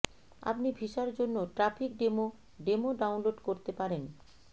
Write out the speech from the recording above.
আপনি ভিসার জন্য ট্র্যাফিক ডেমো ডেমো ডাউনলোড করতে পারেন